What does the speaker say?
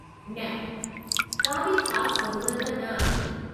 न का बि ख़ासि ज़रूरत न आहे।